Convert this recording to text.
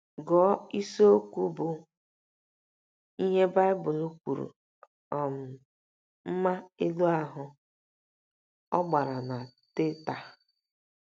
Gụọ isiokwu bụ́ ““ Ihe Baịbụl Kwuru — um Mma Elu Ahụ́. ” Ọ gbara na Teta!